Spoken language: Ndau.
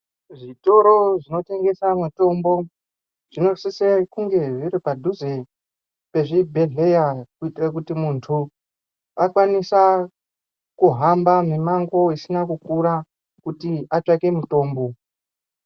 Zvitoro zvinotengesa mitombo zvinosisa kunge zviri padhuze nechibhedhleya kuitira kuti muntu akwanisa kuhamba mumango isina kukura kuti atsvake mutombo.